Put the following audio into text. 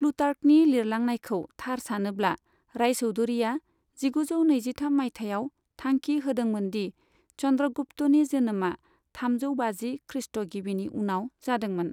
प्लुटार्कनि लिरलांनायखौ थार सानोब्ला, रायचौधरीया जिगुजौ नैजिथाम माइथायाव थांखि होदोंमोनदि चन्द्रगुप्तनि जोनोमा थामजौ बाजि खृष्ट' गिबिनि उनाव जादोंमोन।